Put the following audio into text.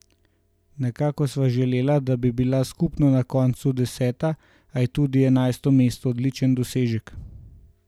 Nekako sva želela, da bi bila skupno na koncu deseta, a je tudi enajsto mesto odličen dosežek.